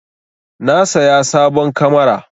Na saya sabon kamara.